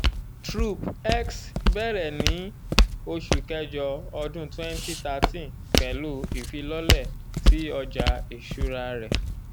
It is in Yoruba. trop-x bẹrẹ ni oṣu kẹjọ ọdun twenty thirteen pẹlu ifilọlẹ ti ọja iṣura rẹ.